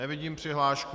Nevidím přihlášku.